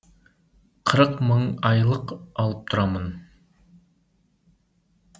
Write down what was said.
қырық мың айлық алып тұрамын